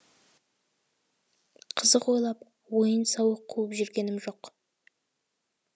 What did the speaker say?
қызық ойлап ойын сауық қуып жүргенім жоқ